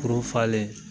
Kurun falen